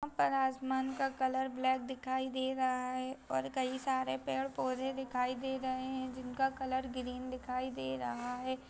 यहाँ पे आसमान का कलर ब्लैक दिखाई दे रहा है और कई सारे पेड़-पौधे दिखाई दे रहे हैं जिनका कलर ग्रीन दिखाई दे रहा है।